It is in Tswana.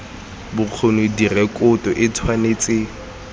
bokgoni ya direkoto e tshwanetse